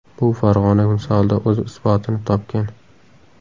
Bu Farg‘ona misolida o‘z isbotini topgan.